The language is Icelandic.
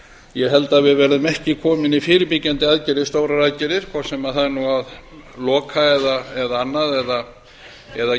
ég held að við verðum ekki komin með fyrirbyggjandi stórar aðgerðir hvort sem það er að loka eða annað eða